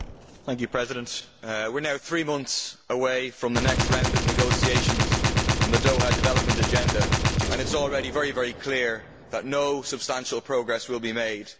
Mr President, we are now three months away from the next round of negotiations on the Doha Development Agenda and it is already very clear that no substantial progress will be made.